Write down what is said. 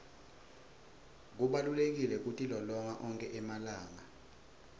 kubalulekile kutilolonga onkhe emalanga